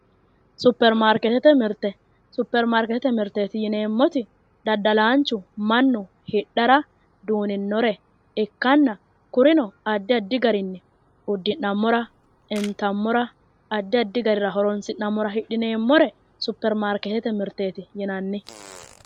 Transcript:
superimaarkeetete mirte, superimaarkeetete mirte yineemmoti daddalaanchu mannu hidhara duuninnore ikkanna kurino addi addi garinni uddi'nammora intammora addi addi garira horonsi'nammora hidhineemmore superimaarkeetete mirteeti yinanni.